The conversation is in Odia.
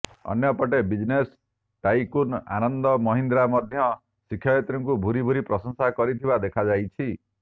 ଅନ୍ୟପଟେ ବିଜନେସ୍ ଟାଇକୁନ୍ ଆନନ୍ଦ ମହିନ୍ଦ୍ରା ମଧ୍ୟ ଶିକ୍ଷୟିତ୍ରୀଙ୍କୁ ଭୁରି ଭୁରି ପ୍ରଶଂସା କରିଥିବା ଦେଖାଯାଇଛି